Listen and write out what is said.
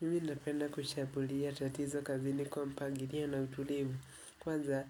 Mimi napenda kushambulia tatizo kazini kwa mpangilio na utulivu, kwanza